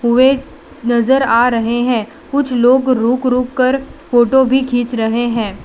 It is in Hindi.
कुएं नज़र आ रहे है। कुछ लोग रुक-रुक कर फ़ोटो भी खींच रहे है।